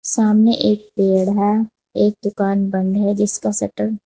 सामने एक पेड़ है एक दुकान बंद है जिसका शटर --